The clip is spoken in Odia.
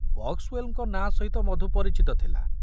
ବକ୍ସୱେଲଙ୍କ ନାଁ ସହିତ ମଧୁ ପରିଚିତ ଥିଲା।